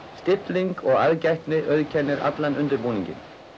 stilling og aðgætni auðkennir allan undirbúninginn